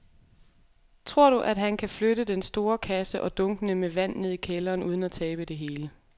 Tror du, at han kan flytte den store kasse og dunkene med vand ned i kælderen uden at tabe det hele?